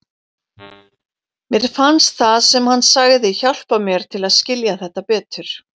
Mér fannst það sem hann sagði hjálpa mér til að skilja þetta betur.